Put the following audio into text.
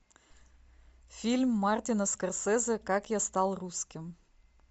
фильм мартина скорсезе как я стал русским